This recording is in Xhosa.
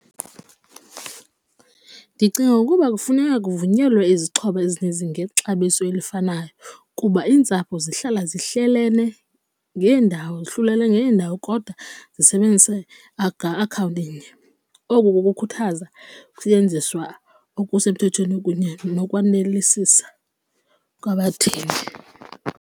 Ndicinga ukuba kufuneka kuvunyelwe izixhobo ezininzi ngexabiso elifanayo kuba iintsapho zihlala zihlelene ngeendawo hlulelwene ngeendawo kodwa zisebenzise akhawunti inye, oku kukukhuthaza kusetyenziswa okusemthethweni kunye nokwanelisa kwabathengi.